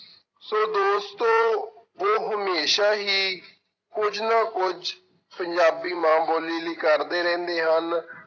ਸੋ ਦੋਸਤੋ ਉਹ ਹਮੇਸ਼ਾ ਹੀ ਕੁੱਝ ਨਾ ਕੁੱਝ ਪੰਜਾਬੀ ਮਾਂ ਬੋਲੀ ਲਈ ਕਰਦੇ ਰਹਿੰਦੇ ਹਨ।